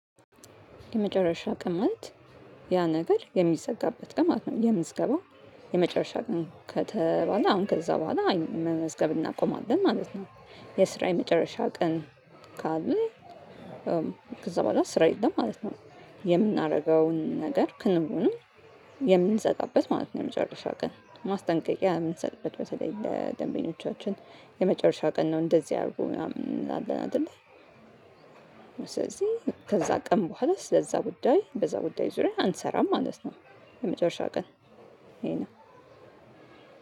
የመጨረሻ ቀን ማለት ያ ነገር የሚዘጋበት ማለት ነው የምዝገባው የመጨረሻ አቅም ከተባለ አሁን ከዛ በኋላ መመዝገብ እናቆማለን ማለት ነው። የስራ የመጨረሻ ቀን ካለ ከዛ በኋላ ስራ የለም ማለት ነው። የምናደርገውን ነገር ክንዉንም የምንዘጋበት ማለት ነው የመጨረሻ ቀን ማስጠንቀቂያ የምንሰጥበት በተለይ ለደንቢኖቻችን የመጨረሻ ቀን ነው እንደዚህ ያደርጉ ምናምን አለን አይደለ ስለዚህ ከዛ ቀን በኋላ ስለዛ ጉዳይ በዛ ጉዳይ ዙሪያ አንሰራም ማለት ነው። የመጨረሻ ቀን ይሄ ነው።